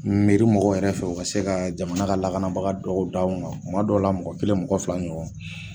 Meri mɔgɔw yɛrɛ fɛ u ka se ka jamana ka lakanabaga dɔ da an kan tuma dɔw la mɔgɔ kelen mɔgɔ fila ɲɔgɔn